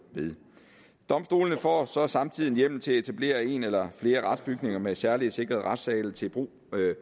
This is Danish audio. ved domstolene får så samtidig en hjemmel til at etablere en eller flere retsbygninger med særligt sikrede retssale til brug